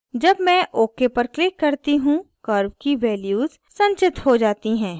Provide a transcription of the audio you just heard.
जब मैं ok पर click करती हूँ curves की values संचित हो जाती हैं